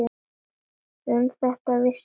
Um þetta vissi enginn.